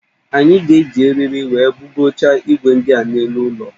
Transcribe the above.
Anyị ga-eji eriri wee bugocha igwe ndi a n'elu ụlọ